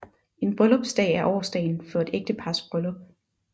En bryllupsdag er årsdagen for et ægtepars bryllup